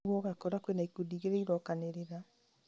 ũguo ũgakora kwĩna ikundi igĩrĩ irokanĩrĩra